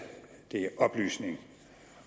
oplysning